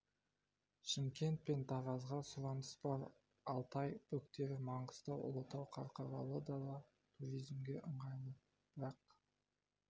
шымкент пен таразға да сұраныс бар алтай бөктері маңғыстау ұлытау қарқаралы да туризмге қолайлы бірақ